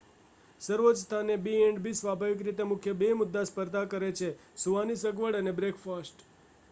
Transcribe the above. સર્વોચ્ચ સ્થાને b&b સ્વાભાવિક રીતે મુખ્ય બે મુદ્દે સ્પર્ધા કરે છે સૂવાની સગવડ અને બ્રેકફાસ્ટ